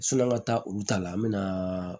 Sɔni an ka taa olu ta la an bɛ na